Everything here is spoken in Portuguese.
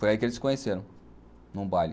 Foi aí que eles se conheceram, num baile.